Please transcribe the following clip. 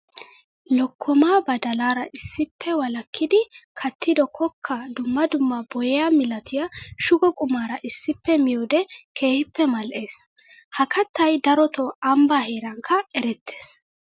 Lokkoma badallara issippe walakiddi kattido kokkaa dumma dumma boyiya milatiya shugo qumara issippe miyoode keehippe mali'ees. Ha kattay darotto ambba heerankka erettees.